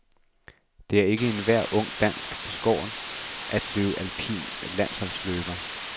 Det er ikke enhver ung dansker beskåret at blive alpin landsholdsløber.